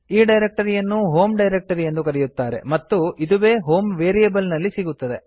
ಈ ಡೈರಕ್ಟರಿಯನ್ನು ಹೋಮ್ ಡೈರಕ್ಟರಿಯೆಂದು ಕರೆಯುತ್ತಾರೆ ಮತ್ತು ಇದುವೇ ಹೋಮ್ ವೇರಿಯೇಬಲ್ ನಲ್ಲಿ ಸಿಗುತ್ತದೆ